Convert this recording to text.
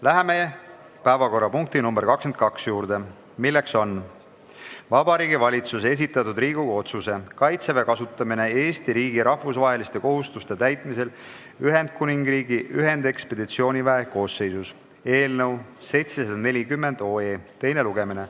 Läheme päevakorrapunkti nr 22 juurde, milleks on Vabariigi Valitsuse esitatud Riigikogu otsuse "Kaitseväe kasutamine Eesti riigi rahvusvaheliste kohustuste täitmisel Ühendkuningriigi ühendekspeditsiooniväe koosseisus" eelnõu teine lugemine.